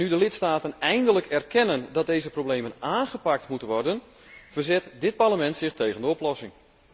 Nu de lidstaten eindelijk erkennen dat deze problemen aangepakt moeten worden, verzet dit Parlement zich tegen de oplossing.